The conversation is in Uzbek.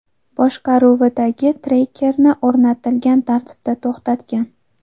boshqaruvidagi Tracker’ni o‘rnatilgan tartibda to‘xtatgan.